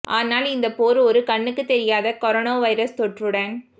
ஆனால் இந்தப் போர் ஒரு கண்ணுக்குத் தெரியாத கரோனா வைரஸ் தொற்றுடன்